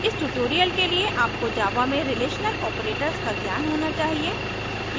इस tutorial के लिए आपको java में relational operators का ज्ञान होना चाहिए